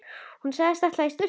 Hann sagðist ætla í sturtu.